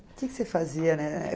O que que você fazia?